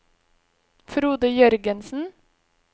Frode Jørgensen